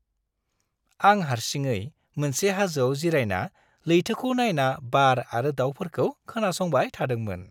आं हारसिङै मोनसे हाजोआव जिरायना लैथोखौ नायना बार आरो दावफोरखौ खोनासंबाय थादोंमोन।